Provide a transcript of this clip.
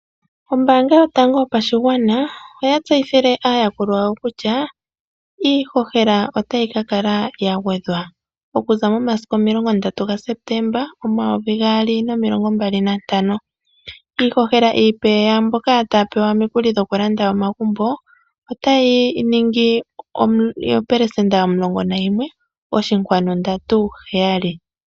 Ombaanga yotango yopashigwana oya tseyithile aayakulwa yawo kutya iihohela otayi ka kala ya gwedhwa, okuza momasiku 30 gaSeptemba 2025. Iihohela iipe yaamboka taya pewa omukuli gokulanda omagumbo otayi ningi oopelesenda omulongo nayimwe oshinkwanu ndatu heyali (11.37%).